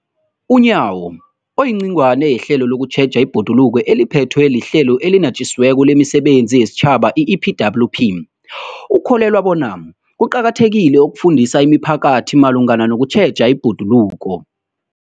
UNyawo, oyingcenye yehlelo lokutjheja ibhoduluko eliphethwe liHlelo eliNatjisi weko lemiSebenzi yesiTjhaba, i-EPWP, ukholelwa bona kuqakathekile ukufundisa imiphakathi malungana nokutjheja ibhoduluko.